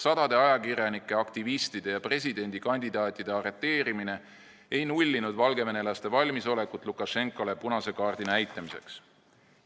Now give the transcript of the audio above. Sadade ajakirjanike, aktivistide ja presidendikandidaatide arreteerimine ei nullinud valgevenelaste valmisolekut Lukašenkale punast kaarti näidata.